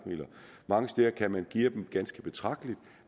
mange steder kan man geare dem ganske betragteligt